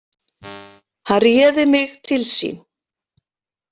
Hann réði mig til sín.